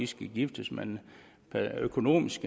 skal giftes men økonomisk